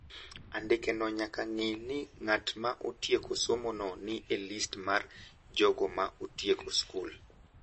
Andikeno nyaka ng`i ni ng’at ma otieko somono ni e list mar jogo ma otieko skul.